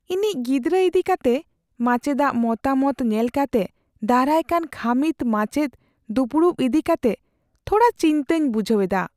ᱤᱧᱤᱡ ᱜᱤᱫᱽᱨᱟᱹ ᱤᱫᱤ ᱠᱟᱛᱮ ᱢᱟᱪᱮᱫᱟᱜ ᱢᱚᱛᱟᱢᱚᱛ ᱧᱮᱞ ᱠᱟᱛᱮ ᱫᱟᱨᱟᱭᱠᱟᱱ ᱠᱷᱟᱹᱢᱤᱫᱼᱢᱟᱪᱮᱫ ᱫᱩᱯᱩᱲᱩᱵ ᱤᱫᱤ ᱠᱟᱛᱮᱜ ᱛᱷᱚᱲᱟ ᱪᱤᱱᱛᱟᱹᱧ ᱵᱩᱡᱷᱟᱹᱣ ᱮᱫᱟ ᱾